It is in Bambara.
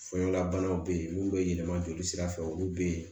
Fɛnlabanaw bɛ yen mun bɛ yɛlɛma joli sira fɛ olu bɛ yen